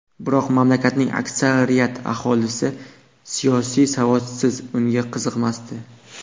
Biroq mamlakatning aksariyat aholisi siyosiy savodsiz, unga qiziqmasdi.